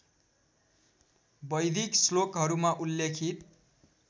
वैदिक श्लोकहरूमा उल्लेखित